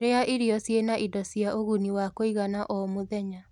rĩa irio ciĩna indo cia ũguni wa kuigana o mũthenya